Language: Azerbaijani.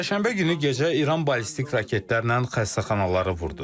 Çərşənbə günü gecə İran ballistik raketlərlə xəstəxanaları vurdu.